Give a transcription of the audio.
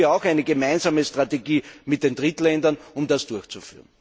Hier brauchen wir auch eine gemeinsame Strategie mit den Drittländern, um das durchzuführen.